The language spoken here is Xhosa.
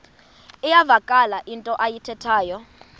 iyavakala into ayithethayo